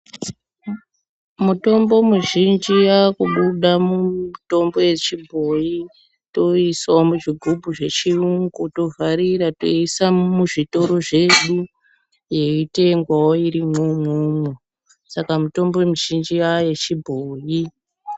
Mutombo muzhinji yakubuda mumutombo yechibhoyi tousawo muzvigubhu zvechiyungu tovharira teiisa muzvitoro zvedu yeitengwawo irimwo umwomwo saka mutombo mizhinji yayechi bhoyi.